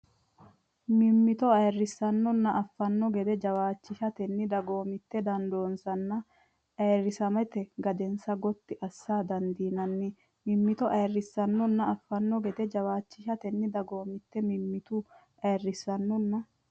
mimmito ayirrissannonna affanno gede jawaachishatenni dagoomitte dandoonsanna ayirrisamate gadensa gotti assa dandiinanni mimmito ayirrissannonna affanno gede jawaachishatenni dagoomitte mimmito ayirrissannonna.